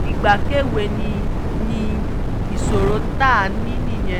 ìgbẹ́kẹ̀wé ni ni ìṣòro tá a ní nìyẹn